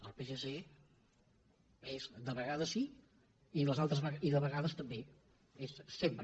el psc és de vegades sí i de vegades també és sempre